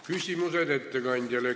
Küsimused ettekandjale.